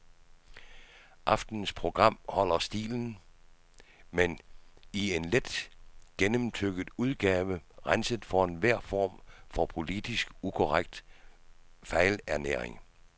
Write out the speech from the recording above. Aftenens program holder stilen, men i en let gennemtygget udgave, renset for enhver form for politisk ukorrekt fejlernæring.